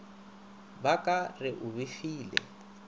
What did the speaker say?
ba ka re o befile